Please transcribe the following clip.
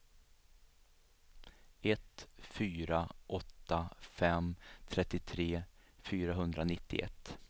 ett fyra åtta fem trettiotre fyrahundranittioett